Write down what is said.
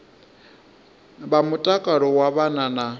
vha mutakalo wa vhana na